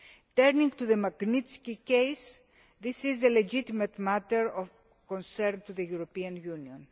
Turning to the Magnitsky case, this is a legitimate matter of concern to the European Union.